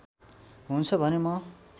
हुन्छ भने म